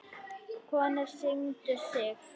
Konur signdu sig.